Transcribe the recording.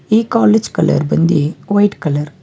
ಈ college colour ಬಂದಿ white colour .